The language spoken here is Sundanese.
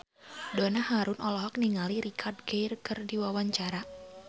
Donna Harun olohok ningali Richard Gere keur diwawancara